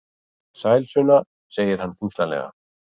Sæl Sunna, segir hann þyngslalega.